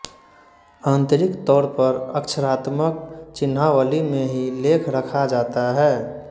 आन्तरिक तौर पर अक्षरात्मक चिह्नावली में ही लेख रखा जाता है